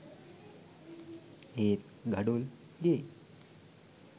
ඒත් ගඩොල් ගේ